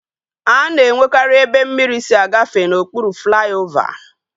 A na-enwekari ebe mmiri si agafe n'okpuru flaiovaa